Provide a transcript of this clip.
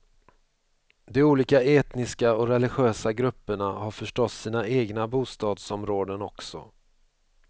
De olika etniska och religiösa grupperna har förstås sina egna bostadsområden också.